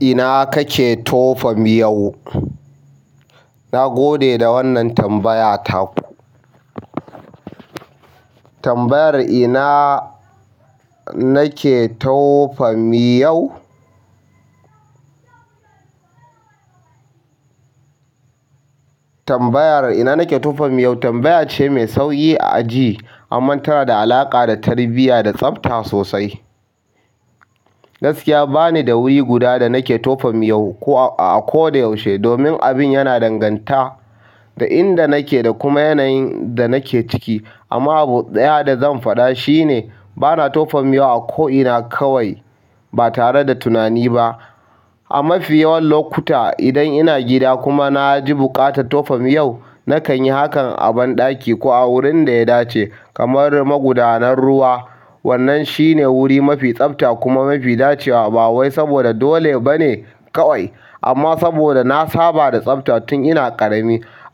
Ina kake tofa miyo? Na gode da wannan tambayata. Tambayar ina nake tofa miyau? Tambayar ina nake tofa miyo tambaya ce mai sauƙi a aji amma tana da alaƙa da tarbiyya da tsafta sosai. Gaskiya bani da wuri guda da nake tofa miyo ko a ko da yaushe domin abin yana danganta da inda nake da kuma yanayin da nake ciki. Amma abu ɗaya da zan faɗa shine bana tofa miyo a ko ina kawai ba tare da tunani ba. A mafi yawan lokuta, idan ina gida kuma na ji buƙatar tofa miyo, nakan yi hakan a banɗaki ko a wurin da ya dace kamar maƙudanar ruwa. Wannan ahi ne wuri mafi safta kuma mafi dacewa.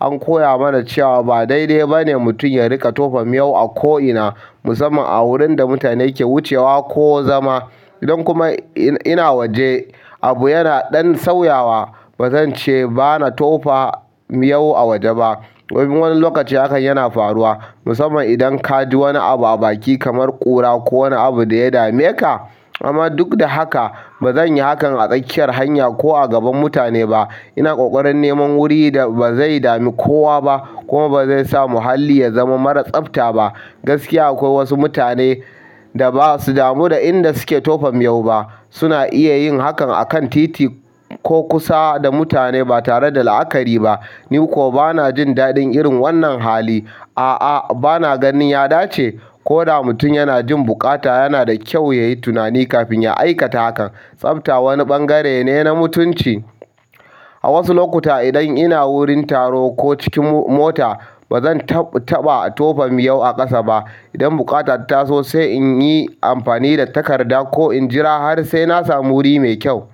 An koya mana cewa ba daidai ba ne mutum ya riƙa tofa miyo a ko ina musamman a wurin da mutane ke wucewa ko zama. Idan kuma ina waje, abu yana ɗan sauyawa. Ba zan ce bana tofa miyo a waje ba. Wani lokaci hakan yana faruwa musamman idan ka ji wani abu a baki kamar ƙura ko wani abu da ya dame ka. Amma duk da haka ba zan yi hakan a sakiyar hanya ko a gaban mutane ba ina ƙoƙarin neman wuri da ba zai dami kowa ba kuma ba zai sa muhalli ya zama mara tsafta ba. Gaskiya akwai wasu mutane da ba su damu da inda suke tofa miyo ba. Suna iya yin hakan a kan titi ko kusa da mutane ba tare da la'akari ba. Ni kuwa ba na jin daɗin irin wannan hali. A'a, ba na ganin ya dace. Ko da mutum yana jin buƙata, yana da kyau ya yi tunani kafin ya aikata hakan. Tsafta wani ɓangare ne na mutunci. A wasu lokuta, idan ina wurin taro ko cikin mota, ba zan taɓa tofa miyo a ƙasa ba. Idan buƙata ta taso sai in yi amfani da takarda ko in jira har sai na samu wuri mai kyau.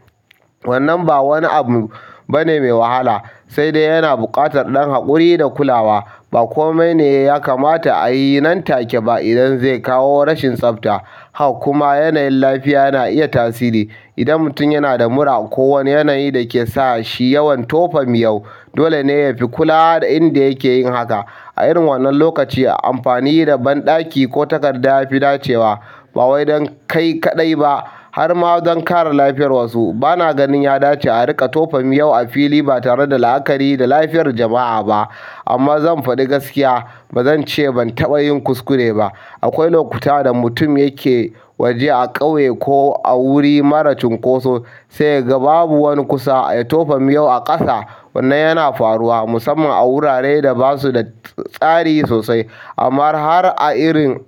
Wannan ba wani abu bane mai wahala sai dai yana buƙatar ɗan haƙuri da kulawa. Ba kome ne ya kamata a yi nan take ba idan zai kawo rashin tsafta. Hak kuma yanayin lafiya na iya tasiri. Idan mutum yana da mura ko wani yanayi da ke sa shi yawan tofa miyo, dole ne ya fi kula da inda yake yin haka. A irin wannan lokaci, amfani da banɗaki ko takarda ya fi dacewa ba wai don kai kaɗai ba har ma don kare lafiyar wasu. Ba na ganin ya dace a riƙa tofa miyo a fili ba tare da la'akari da lafiyar jama'a ba. Amma zan faɗi gaskiya, ba zan ce ban taɓa yin kuskure ba. Akwai lokuta da mutum yake waje a ƙauye ko a wuri mara cunkoso sai ya ga babu wani kusa ya tofa miyo a ƙasa. Wannan yana faruwa musamman a wuraren da ba su da tsari sosai. Amma har a irin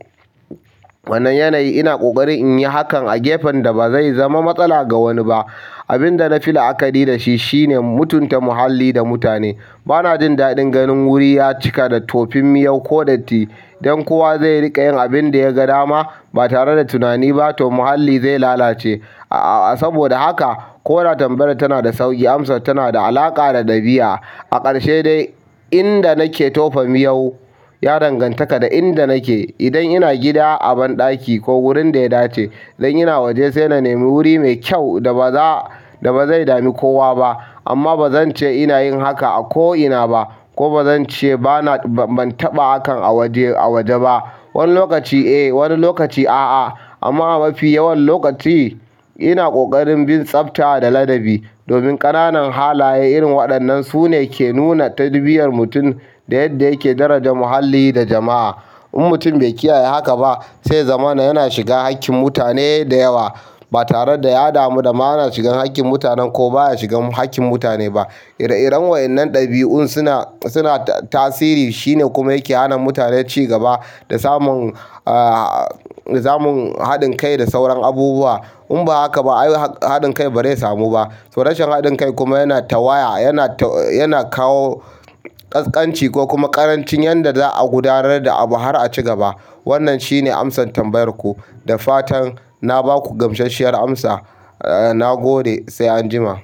wannan yanayi, ina ƙoƙarin in yi hakan a gefen da ba zai zama matsala ga wani ba. Abin da na fi la'akari da shi shine mutunta muhalli da mutane. Ba na jin daɗin ganin wuri ya cika da tofin miyo ko datti don kowa zai riƙa yin abin da ya ga dama ba tare da tunani ba toh muhalli zai lalace. A'a, saboda haka ko da tambayar tana da sauƙi, amsa tana da alaƙa da ɗabi'a. A ƙarshe dai, inda nake tofa miyo ya danganta da inda nake. Idan ina gida, a banɗaki ko wurin da ya dace. Idan ina waje sai na nemi wuri mai kyau da ba za a, da ba zai dami kowa ba amma ba zan ce ina yin haka a ko ina ba ko ba zan ce bana, ban taɓa hakan a waje, a waje ba. Wani lokaci eh, wani lokaci a'a. Amma a mafi yawan lokaci, ina ƙoƙarin bin tsafta da ladabi domin ƙananan halaye irin waɗannan su ne ke nuna tarbiyyar mutum da yadda yake daraja muhalli da jama'a. In mutum bai kiyaye haka ba sai ya zama yana shiga haƙƙin mutane da yawa ba tare da ya damu da ma yana shiga haƙƙin mutanen ko baya shiga haƙƙin mutane ba. Kiran wayennan dabiun suna suna tasiri shi ne kuma yake hana mutane ci gaba da samun haɗin kai da sauran abubuwa in ba haka ba, ai haɗin kai ba zai samu ba. To rashin haɗin kai kuma yana ta waya, yana taw, yana kawo ƙasƙanci ko kuma ƙarancin yadda za a gudanar da abu har a ci gaba. Wannan shine amsar tambayar ku. Da fatan na ba ku gamsashiyar amsa. Na gode, sai anjima.